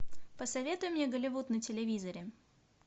посоветуй мне голливуд на телевизоре